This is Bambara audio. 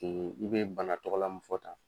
I bɛ bana tɔgɔla mun fɔ tan.